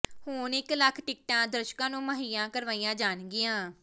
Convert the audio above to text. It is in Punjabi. ਹੁਣ ਇੱਕ ਲੱਖ ਟਿਕਟਾਂ ਦਰਸ਼ਕਾਂ ਨੂੰ ਮੁਹੱਈਆ ਕਰਵਾਈਆਂ ਜਾਣਗੀਆਂ